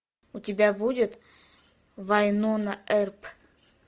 у тебя будет вайнона эрп